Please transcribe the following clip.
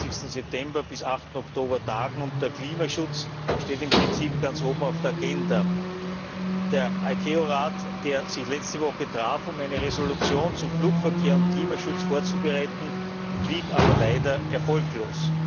28. September bis 8. Oktober tagen, und der Klimaschutz steht im Prinzip ganz oben auf der Agenda. Der ICAO Rat, der sich letzte Woche traf, um eine Resolution zu Flugverkehr und Klimaschutz vorzubereiten, blieb aber leider erfolglos.